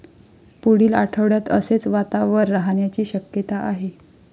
पुढील आठवड्यात असेच वातावर राहण्याची शक्यता आहे.